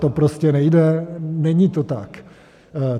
To prostě nejde, není to tak.